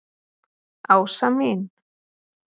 Ása mín.